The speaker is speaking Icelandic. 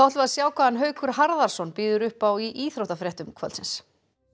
sjá hvað Haukur Harðarson býður upp á í íþróttafréttum kvöldsins